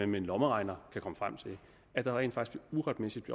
med en lommeregner kan komme frem til at der rent faktisk uretmæssigt